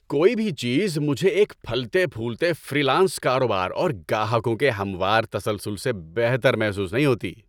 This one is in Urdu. کوئی بھی چیز مجھے ایک پھلتے پھولتے فری لانس کاروبار اور گاہکوں کے ہموار تسلسل سے بہتر محسوس نہیں ہوتی۔